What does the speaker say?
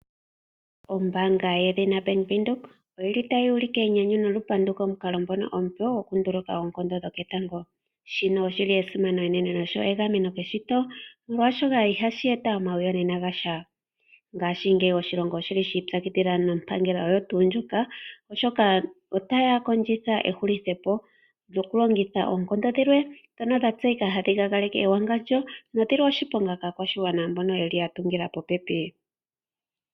ombaanga yedhina Bank Windhoek oyili tayi ulike enyanyu nolupandu komukalo ngono omupe okunduluka oonkondo dhoketango. Shino oshi li esimano enene negameno keshito molwaashoka ihashi eta omiyonena dha sha. Ngaashingeyi oshilongo oshi li shi ipyakidhila nompangela oyo tuu ndjoka oshoka otaya kondjitha ehulithepo lyokulongitha oonkondo dhilwe ndhono dha tseyika hadhi luudhike ewangandjo nodhili oshiponga kaakwashigwana mbono ya tungila popepi.